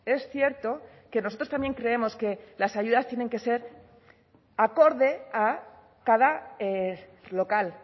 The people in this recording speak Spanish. es cierto que nosotros también creemos que las ayudas tienen que ser acorde a cada local